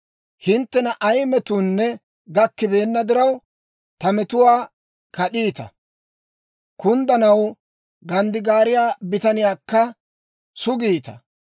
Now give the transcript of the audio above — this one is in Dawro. Hinttena ay metuunne gakkibeenna diraw, ta metuwaa kad'iita; kunddanaw ganddigaariyaa bitaniyaakka sugiita.